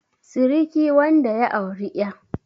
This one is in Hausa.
siriki wanda ya auri 'ya